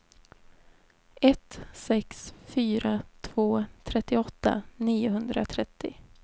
ett sex fyra två trettioåtta niohundratrettio